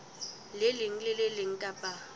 leng le le leng kapa